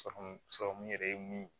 yɛrɛ ye mun ye